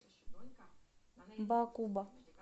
баакуба